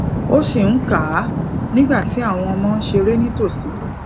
o sì n kà á nígbà tí àwọn ọmọ ń ṣeré nítòsí